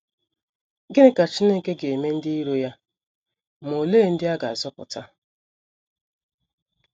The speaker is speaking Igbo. Gịnị ka Chineke ga - eme ndị iro ya, ma olee ndị a ga - azọpụta?